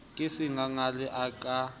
ke se sengangele a ka